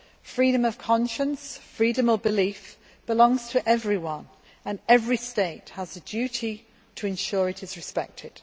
Freedom of conscience and of belief belongs to everyone and every state has the duty to ensure it is respected.